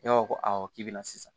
Ne ko ko awɔ k'i bɛna sisan